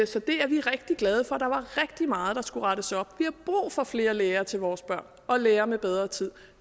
så det er vi rigtig glade for der var rigtig meget der skulle rettes op vi har brug for flere lærere til vores børn og lærere med bedre tid